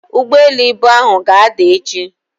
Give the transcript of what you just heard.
ugboelu ibu ahu ga-ada echi.